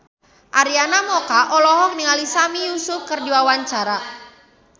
Arina Mocca olohok ningali Sami Yusuf keur diwawancara